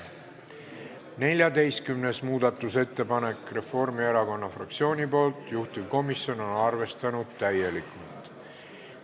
14. muudatusettepanek Reformierakonna fraktsioonilt, juhtivkomisjon on arvestanud täielikult.